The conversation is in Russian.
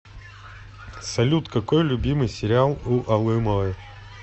салют какой любимый сериал у алымовой